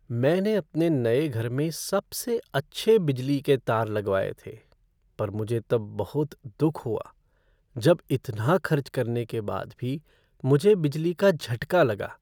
मैंने अपने नए घर में सबसे अच्छे बिजली के तार लगवाये थे पर मुझे तब बहुत दुख हुआ जब इतना खर्च करने के बाद भी मुझे बिजली का झटका लगा।